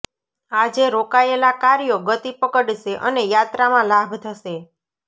આજે રોકાયેલા કાર્યો ગતિ પકડશે અને યાત્રામાં લાભ થશે